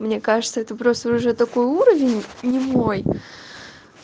мне кажется это просто уже такой уровень не мой